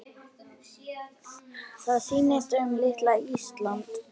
Það snýst um litla Ísland.